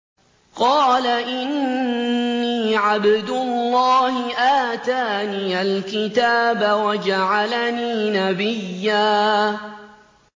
قَالَ إِنِّي عَبْدُ اللَّهِ آتَانِيَ الْكِتَابَ وَجَعَلَنِي نَبِيًّا